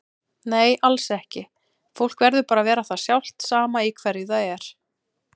Nei alls ekki, fólk verður bara að vera það sjálft sama í hverju það er.